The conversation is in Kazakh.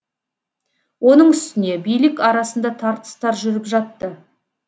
оның үстіне билік арасында тартыстар жүріп жатты